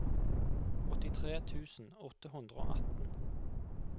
åttitre tusen åtte hundre og atten